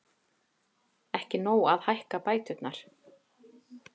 Ekki nóg að hækka bæturnar